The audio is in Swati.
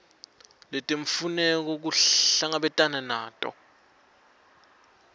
letimfuneko kuhlangabetene nato